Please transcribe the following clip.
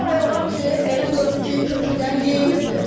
Bir ay olar ki, elə görürük ki, kökündən yeyilibdir.